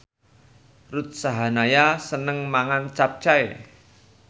Ruth Sahanaya seneng mangan capcay